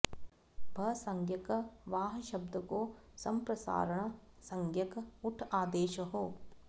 भसंज्ञक वाह् शब्द को सम्प्रसारण संज्ञक ऊठ् आदेश हो